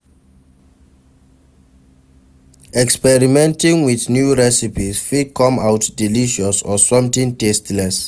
Experimenting with new recipes fit come out delicious or something tasteless